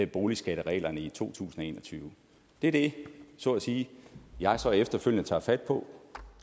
boligskattereglerne i to tusind og en og tyve det er det så at sige jeg så efterfølgende tager fat på